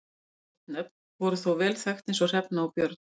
Ósamsett nöfn voru þó vel þekkt eins og Hrefna og Björn.